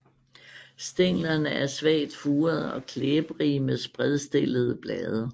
Stænglerne er svagt furede og klæbrige med spredstillede blade